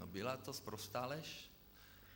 No, byla to sprostá lež.